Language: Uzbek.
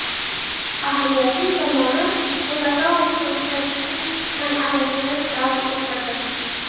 Ahamiyatli tomoni, u nokautga uchratish an’anasini davom ettirdi.